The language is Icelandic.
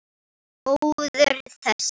Góður þessi!